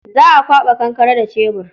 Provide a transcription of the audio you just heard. Za a kwaɓa kankare da cebur.